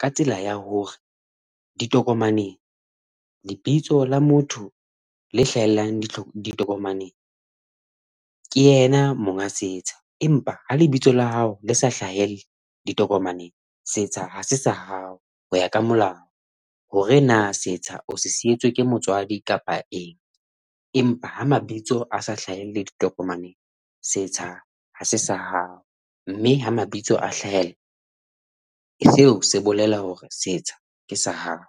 ka tsela ya hore, ditokomaneng lebitso la motho le hlahellang ditokomaneng ke yena monga setsha empa ha lebitso la hao le sa hlahelle ditokomaneng setsha ha se sa hao, hoya ka molao hore na setsha o se sietswe ke motswadi kapa eng empa ha mabitso a sa hlahelle ditokomaneng, setsha ha se sa hao, mme ha mabitso a hlahella, seo se bolela hore setsha ke sa hao.